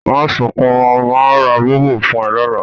Mà sùn kún mọ̀, màá rá Bọ̀bọ̀ fún ẹ lọ́lá